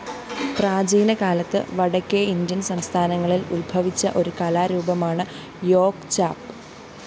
പ്രാചീനകാലത്ത് വടക്കേഇന്ത്യന്‍ സംസ്ഥാനങ്ങളില്‍ ഉത്ഭവിച്ച ഒരു കലാരൂപമാണ് യോഗ്ചാപ്